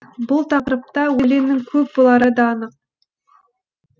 демек бұл тақырыпта өлеңнің көп болары да анық